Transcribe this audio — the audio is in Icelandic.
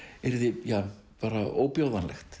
yrði ja bara